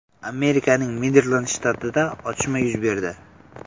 Amerikaning Merilend shtatida otishma yuz berdi.